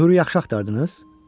Möhrü yaxşı axtardınız?